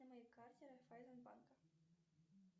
на моей карте райффайзенбанка